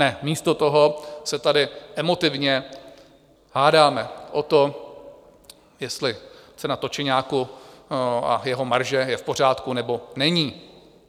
Ne, místo toho se tady emotivně hádáme o tom, jestli cena točeňáku a jeho marže je v pořádku, nebo není.